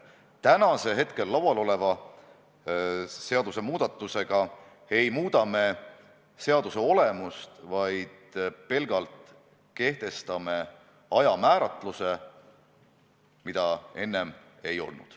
Täna arutelu all oleva seadusmuudatusega ei muuda me mitte seaduse olemust, vaid kehtestame pelgalt ajamääratluse, mida enne ei olnud.